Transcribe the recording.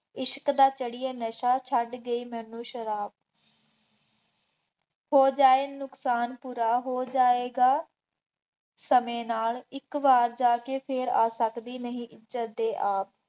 ਇਸ਼ਕ ਦਾ ਚੜਿਐ ਨਸ਼ਾ, ਛੱਡ ਗਈ ਮੈਨੂੰ ਸ਼ਰਾਬ, ਹੋ ਜਾਏ ਨੁਕਸਾਨ ਪੂਰਾ, ਹੋ ਜਾਏਗਾ ਸਮੇਂ ਨਾਲ ਇੱਕ ਵਾਰ ਜਾ ਕੇ ਫੇਰ ਆ ਸਕਦੀ ਨਹੀਂ ਜੱਦੇ ਆਬ,